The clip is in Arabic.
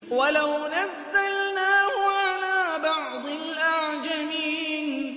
وَلَوْ نَزَّلْنَاهُ عَلَىٰ بَعْضِ الْأَعْجَمِينَ